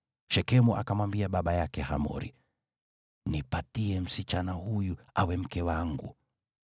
Shekemu akamwambia baba yake Hamori, “Nipatie msichana huyu awe mke wangu.”